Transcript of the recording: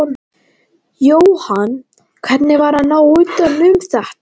Jóhann: Hvernig var að ná utan um þetta?